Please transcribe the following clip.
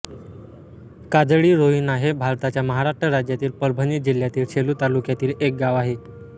काजळीरोहिणा हे भारताच्या महाराष्ट्र राज्यातील परभणी जिल्ह्यातील सेलू तालुक्यातील एक गाव आहे